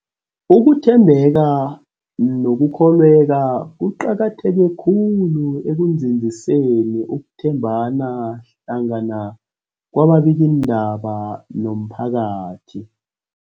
Ukuthembeka nokukholweka kuqakatheke khulu ekunzinziseni ukuthembana hlangana kwababikiindaba nomphakathi.